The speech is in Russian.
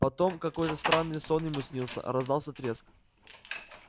потом какой странный сон ему снился раздался треск